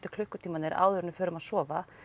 klukkutímarnir áður en við förum að sofa